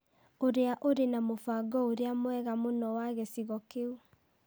ũrĩa ũrĩ na mũbango ũrĩa mwega mũno wa gĩcigo kĩu.